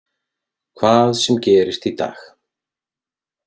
Hvað sem gerist í dag.